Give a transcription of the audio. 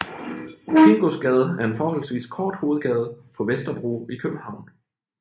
Kingosgade er en forholdsvis kort hovedgade på Vesterbro i København